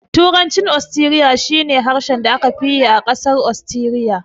Turancin Ostiriya shi ne harshen da aka fi yi a ƙasar Ostiriya.